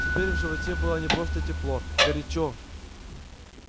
теперь в животе было не просто тепло горячо